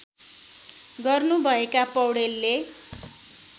गर्नु भएका पैाडेलले